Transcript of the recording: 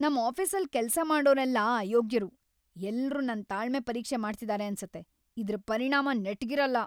ನಮ್‌ ಆಫೀಸಲ್ ಕೆಲ್ಸ ಮಾಡೋರೆಲ್ಲ ಅಯೋಗ್ಯರು, ಎಲ್ರು ನನ್‌ ತಾಳ್ಮೆ ಪರೀಕ್ಷೆ ಮಾಡ್ತಿದಾರೆ ಅನ್ಸತ್ತೆ, ಇದ್ರ್‌ ಪರಿಣಾಮ ನೆಟ್ಗಿರಲ್ಲ.